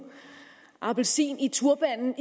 appelsin i turbanen